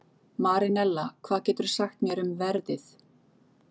Marinella, hvað geturðu sagt mér um veðrið?